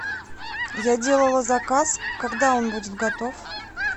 я делала заказ когда он будет готов